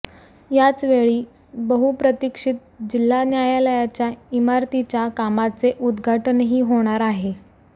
याचवेळी बहुप्रतीक्षित जिल्हा न्यायालयाच्या इमारतीच्या कामाचे उद्घाटनही होणार आहे